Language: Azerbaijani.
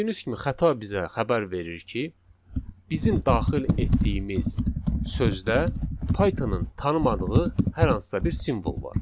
Gördüyünüz kimi xəta bizə xəbər verir ki, bizim daxil etdiyimiz sözdə Pythonın tanımadığı hər hansısa bir simvol var.